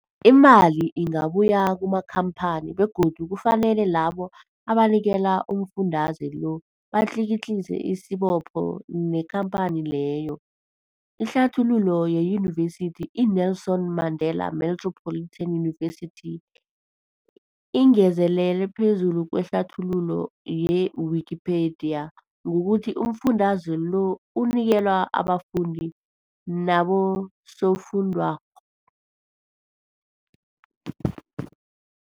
Imali ingabuyi kumakhamphani begodu kufanele labo abanikelwa umfundaze lo batlikitliki isibopho neenkhamphani leyo. Ihlathululo yeYunivesithi i-Nelson Mandela Metropolitan University, ingezelele phezulu kwehlathululo ye-Wikipedia, ngokuthi umfundaze lo unikelwa abafundi nabosofundwakgho.